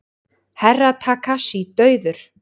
Herra Takashi dauður!